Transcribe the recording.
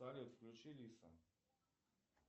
салют включи лиса